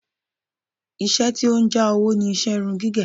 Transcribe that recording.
Ìṣe tí ó ń jàwó ni iṣẹ́ irun gígẹ̀